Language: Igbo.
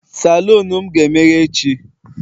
Salon m ga-emeghe echi